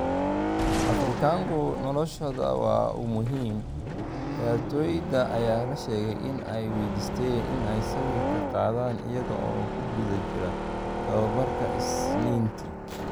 # Afrikanka noloshodawamuhim'' Ciyaartoyda ayaa la sheegay in ay waydiisteen in ay sawirka qaadaan iyaga oo ku guda jira tababarka Isniintii.